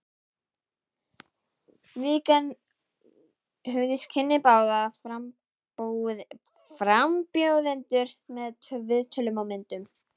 Vikan hugðist kynna báða frambjóðendur með viðtölum og myndum.